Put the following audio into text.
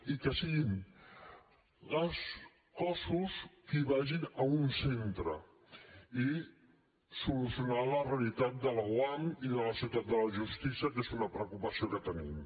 i que siguin els cossos que vagin a un centre i solucionar la realitat de l’oam i de la ciutat de la justícia que és una preocupació que tenim